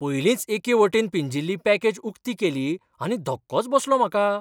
पयलींच एके वटेन पिंजिल्ली पॅकेज उक्ती केली आनी धक्कोच बसलो म्हाका!